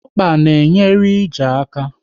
Ọkpa na enyere ije aka